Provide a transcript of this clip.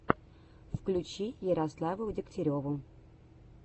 включи ярославу дегтяреву